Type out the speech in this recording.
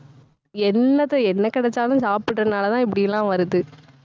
என்னத்த, என்ன கிடைச்சாலும், சாப்பிடறதுனாலதான் இப்படி எல்லாம் வருது.